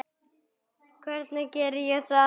Hvernig geri ég það?